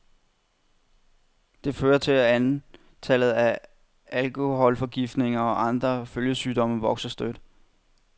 Det fører til, at antallet af afkolholforgiftninger og andre følgesygdomme vokser støt.